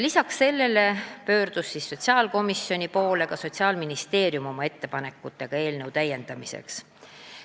Ka pöördus sotsiaalkomisjoni poole Sotsiaalministeerium, kes tegi oma ettepanekud eelnõu täiendamiseks.